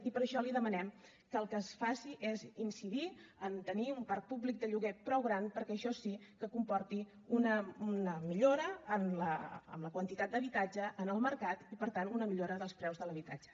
i per això li demanem que el que es faci és incidir en tenir un parc públic de lloguer prou gran perquè això sí que comporti una millora en la quantitat d’habitatge en el mercat i per tant una millora dels preus de l’habitatge